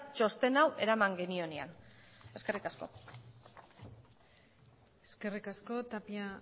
txosten hau eraman genionean eskerrik asko eskerrik asko tapia